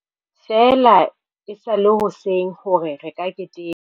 Feela e sa le hoseng hore re ka keteka.